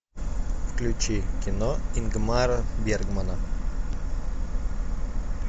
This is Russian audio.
включи кино ингмара бергмана